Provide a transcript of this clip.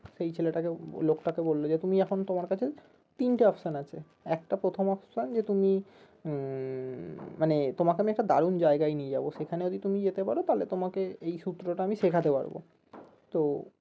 সেই ছেলেটাকে লোকটাকে বললো যে তুমি এখন তোমার কাছে তিনটে option আছে একটা প্রথম option যে তুমি আহ মানে তোমাকে আমি একটা দারুন জায়গায় নিয়ে যাবো সেখানে যদি তুমি যেতে পারো তালে তোমাকে এই সূত্রটা আমি শেখাতে পারবো তো